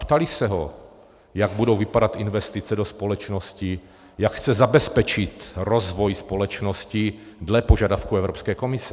Ptali se ho, jak budou vypadat investice do společnosti, jak chce zabezpečit rozvoj společnosti dle požadavků Evropské komise.